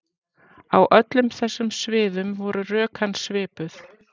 Á öllum þessum sviðum voru rök hans svipuð.